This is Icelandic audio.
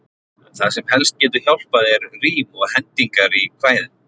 Það sem helst getur hjálpað er rím og hendingar í kvæðum.